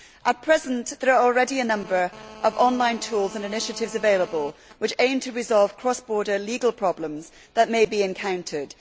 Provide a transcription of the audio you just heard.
At present there are already a number of online tools and initiatives available which aim to resolve cross border legal problems that may be encountered.